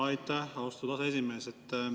Aitäh, austatud aseesimees!